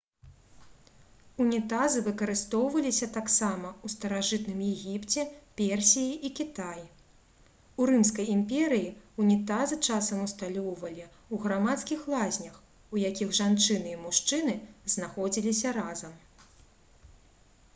унітазы выкарыстоўваліся таксама ў старажытным егіпце персіі і кітаі у рымскай імперыі ўнітазы часам усталёўвалі ў грамадскіх лазнях у якіх жанчыны і мужчыны знаходзіліся разам